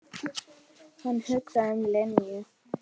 Hann hugsaði um Linju.